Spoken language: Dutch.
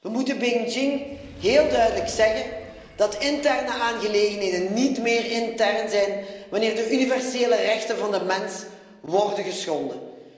We moeten Beijing heel duidelijk zeggen dat interne aangelegenheden niet meer intern zijn wanneer de universele rechten van de mens worden geschonden.